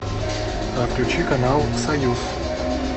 включи канал союз